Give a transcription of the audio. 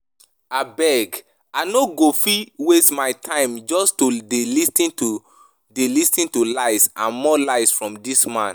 Abeg I no go fit waste my time just to dey lis ten to dey lis ten to lies and more lies from dis man